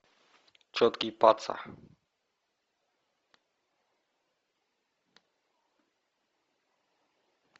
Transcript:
четкий паца